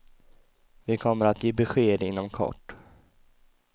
Vi kommer att ge besked inom kort.